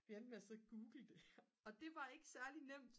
vi endte med at sidde og google det og det var ikke særligt nemt